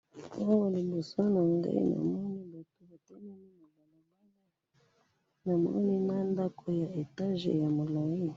Awa na moni batu batelemi na ndako ya etage ya molai.